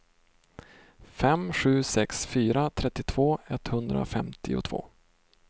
fem sju sex fyra trettiotvå etthundrafemtiotvå